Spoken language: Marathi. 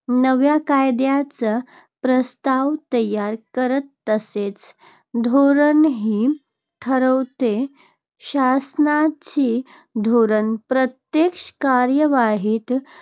नव्या कायद्याचे प्रस्ताव तयार करते, तसेच धोरणही ठरवते. शासनाची धोरणे प्रत्यक्ष कार्यवाहीत